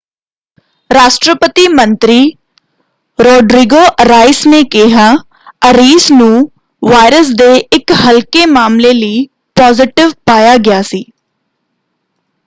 ਰਾਸ਼ਟਰਪਤੀ ਮੰਤਰੀ Rodrigo Arias ਨੇ ਕਿਹਾ ਅਰੀਸ ਨੂੰ ਵਾਇਰਸ ਦੇ ਇਕ ਹਲਕੇ ਮਾਮਲੇ ਲਈ ਪੋਜ਼ੀਟਿਵ ਪਾਇਆ ਗਿਆ ਸੀ।